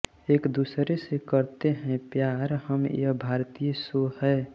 एक दुसरे से करते हैं प्यार हम यह भारतीय शो हे